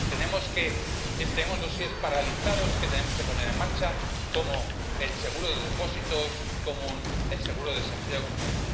Tenemos expedientes paralizados que tenemos que poner en marcha, como el seguro de depósitos común o el seguro de desempleo común.